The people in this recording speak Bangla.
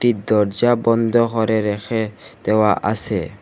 এই দরজা বন্ধ হরে রেখে দেওয়া আসে ।